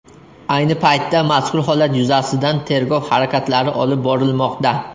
Ayni paytda mazkur holat yuzasidan tergov harakatlari olib borilmoqda.